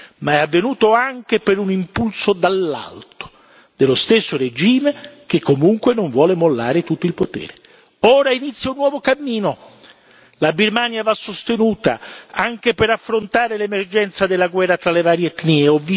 Ma è avvenuto anche per un impulso dall'alto dello stesso regime che comunque non vuole mollare tutto il potere. Ora ha inizio un nuovo cammino la Birmania va sostenuta, anche per affrontare l'emergenza della guerra tra le varie etnie.